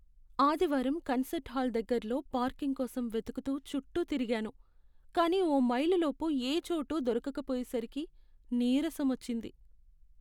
ఆదివారం concert hall దగ్గర్లో parking కోసం వెతుకుతూ చుట్టూ తిరిగాను, కానీ ఓ మైలు లోపు ఏ చోటూ దొరకకపోయేసరికి నీరసం వచ్చింది.